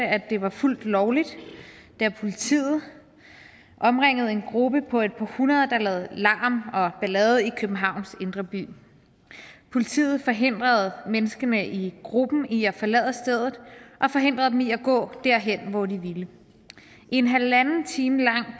at det var fuldt lovligt da politiet omringede en gruppe på et par hundrede der lavede larm og ballade i københavns indre by politiet forhindrede menneskene i gruppen i at forlade stedet og forhindrede dem i at gå derhen hvor de ville i en halvanden time lang